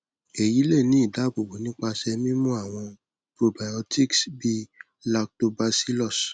eyi le ni idaabobo nipasẹ mimu awọn probiotics bii lactobacillus